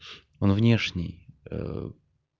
он внешний